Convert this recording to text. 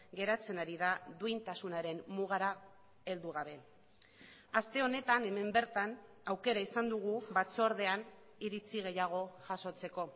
geratzen ari da duintasunaren mugara heldu gabe aste honetan hemen bertan aukera izan dugu batzordean iritzi gehiago jasotzeko